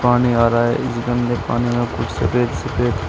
पानी आ रहा है इस गंदे पानी में कुछ सफेद सफेद--